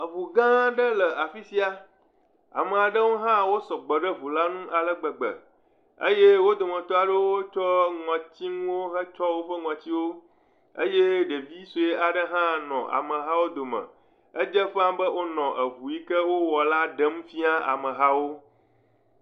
Eŋu gãaa ɖe le afi sia. Ame aɖewo hã wo sɔgbɔ ɖe ŋula ŋu ale gbegbe. Eye wo dometɔ aɖewo tsɔ ŋɔtsinuwo hetsyɔ woƒe ŋɔtsiwo. Eye ɖevi sue aɖe hã nɔ amahawo dome. Edze ƒãaa be wonɔ eŋu yi ke wowɔ la ɖem fia mehawo.